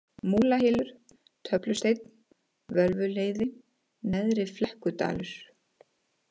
Múlahylur, Töflusteinn, Völvuleiði, Neðri-Flekkudalur